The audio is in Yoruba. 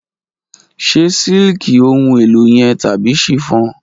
Ṣe siliki ohun elo yẹn tabi chiffon?